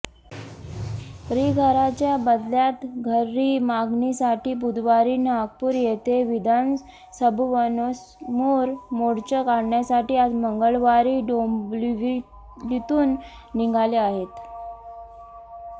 ॠघराच्या बदल्यात घरॠ मागणीसाठी बुधवारी नागपूर येथे विधानसभवनसमोर मोर्चा काढण्यासाठी आज मंगळावरी डोंबिवलीतून निघाले आहेत